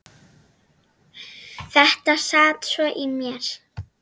Þetta sat svo í mér.